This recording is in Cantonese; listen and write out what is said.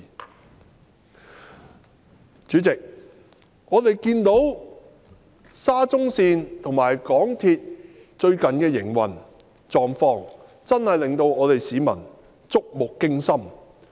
代理主席，我們看到沙中線和港鐵最近的運作狀況，真的令市民觸目驚心。